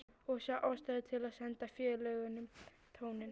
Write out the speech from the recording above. Og sá ástæðu til að senda félögunum tóninn.